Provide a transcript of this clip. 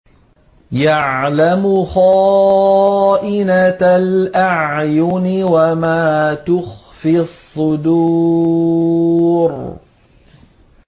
يَعْلَمُ خَائِنَةَ الْأَعْيُنِ وَمَا تُخْفِي الصُّدُورُ